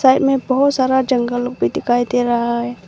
में बहोत सारा जंगल भी दिखाई दे रहा है।